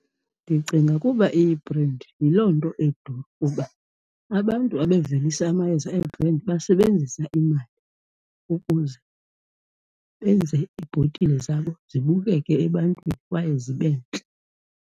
Ndicinga kuba iyibhrendi, yiloo nto iduru, kuba abantu abavelisa amayeza eebhrendi basebenzisa imali ukuze benze iibhotile zabo zibukeke ebantwini kwaye zibe ntle.